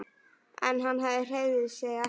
En hann hreyfði sig ekki.